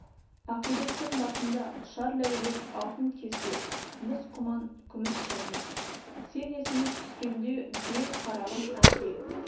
ақиректің басында ұшар ләйлек алтын кесе мыс құман күміс шәйнек сен есіме түскенде беу қарағым әнге